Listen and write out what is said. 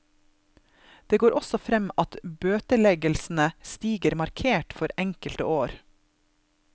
Det går også frem at bøteleggelsene stiger markert for enkelte år.